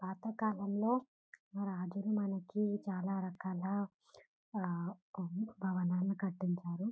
పాత కాలంలో రాజులు మనకు చాలా రకాల ఆ కొన్ని భవనాలు కట్టించారు .